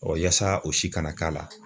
Ɔ yaasa o si kana k'a la